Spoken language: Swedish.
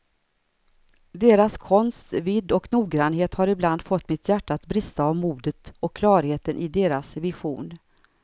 Deras konsts vidd och noggrannhet har ibland fått mitt hjärta att brista av modet och klarheten i deras vision.